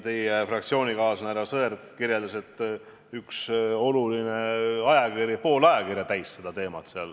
Teie fraktsioonikaaslane härra Sõerd kirjeldas, et üks oluline ajakiri pühendas sellele pool oma numbrist.